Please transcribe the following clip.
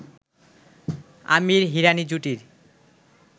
Aamir-Hirani জুটির